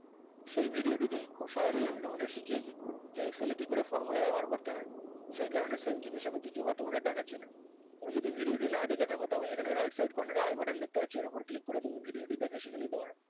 সেই video টিতে খুব সহজেই আমি তোমাদের শিখিয়েছি যে excel কি করে formula ব্যবহার করতে হয় সেই কারণে same জিনিস আমি দ্বিতীয় বার তোমাদের দেখাচ্ছিনা কেউ যদি video টা না দেখে থাকো তাহলে এখানে right side corner এ i button দেখতে পাচ্ছ ওর ওপর click করে তুমি video টি দেখে শিখে নিতে পারো